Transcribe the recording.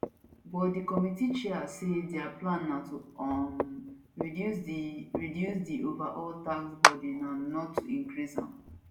but di committee chair say dia plan na to um reduce di reduce di overall tax burden and not to increase am